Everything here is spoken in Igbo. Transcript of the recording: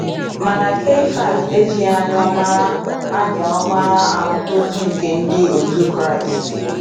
Mana Keifas ejighi anya ọma anya ọma ahụta ozi nke ndị òtù Kraịst.